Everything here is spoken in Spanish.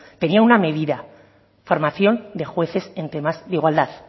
tenía una medida formación de jueces en tema de igualdad